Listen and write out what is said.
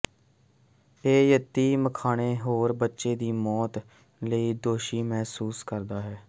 ਉਹ ਯਤੀਮਖਾਨੇ ਹੋਰ ਬੱਚੇ ਦੀ ਮੌਤ ਲਈ ਦੋਸ਼ੀ ਮਹਿਸੂਸ ਕਰਦਾ ਹੈ